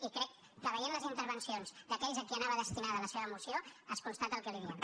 i crec que veient les intervencions d’aquells a qui anava destinada la seva moció es constata el que li diem